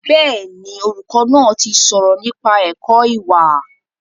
Bẹ́ẹ̀ni, olùkọ́ náà ti sọ̀rọ̀ nípa ẹ̀kọ́ ìwà